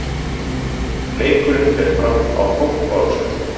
Leikurinn fer fram á Kópavogsvelli.